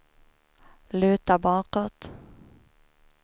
luta bakåt